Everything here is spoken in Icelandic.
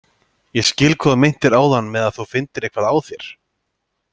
Ég skil hvað þú meintir áðan með að þú finndir eitthvað á þér.